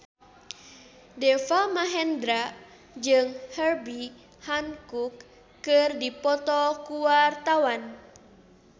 Deva Mahendra jeung Herbie Hancock keur dipoto ku wartawan